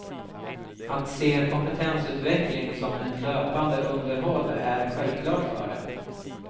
Att se kompetensutveckling som ett löpande underhåll är självklart för dem.